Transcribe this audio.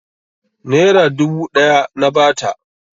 Nera dubu ɗaya na ba ta.